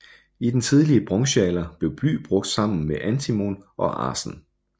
I den tidlige bronzealder blev bly brugt sammen med antimon og arsen